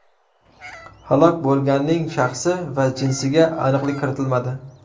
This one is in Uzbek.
Halok bo‘lganning shaxsi va jinsiga aniqlik kiritilmadi.